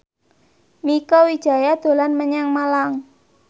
Mieke Wijaya dolan menyang Malang